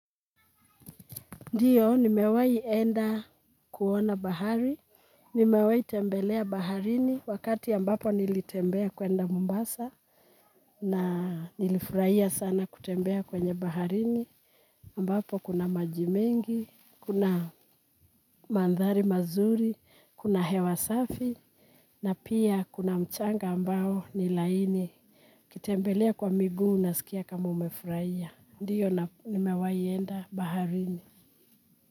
Ndiyo nimewai enda kuona bahari, nimewai tembelea baharini wakati ambapo nilitembea kuenda Mombasa na nilifurahia sana kutembea kwenye baharini ambapo kuna maji mengi, kuna mandhari mazuri, kuna hewa safi na pia kuna mchanga ambao ni laini, kutembelea kwa miguu nasikia kama umefurahia. Ndiyo nimewayi enda baharini.